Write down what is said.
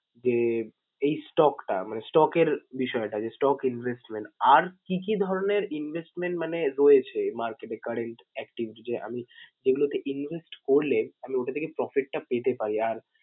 যে এই stock টা, মানে stock এর বিষয়টা যে stock investment । আর কী কী ধরনের investment মানে রয়েছে market এ current active যদি আমি যেগুলোতে invest করলে আমি ওটা থেকে profit টা পেতে পারি? আর